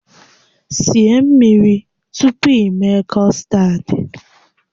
Sie mmiri tupu i mee kọstad!